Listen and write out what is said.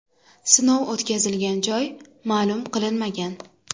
Sinov o‘tkazilgan joy ma’lum qilinmagan.